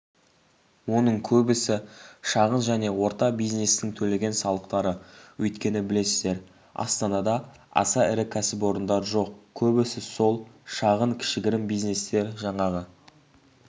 оның көбісі шағын және орта бизнестің төлеген салықтары өйткені білесіздер астанада аса ірі кәсіпорындар жоқ көбісі сол шағын кішігірім бизнестер жаңағы